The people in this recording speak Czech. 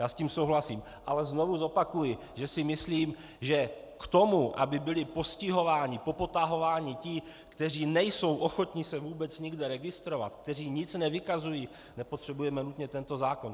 Já s tím souhlasím, ale znovu zopakuji, že si myslím, že k tomu, aby byli postihováni, popotahováni ti, kteří nejsou ochotni se vůbec nikde registrovat, kteří nic nevykazují, nepotřebujeme nutně tento zákon.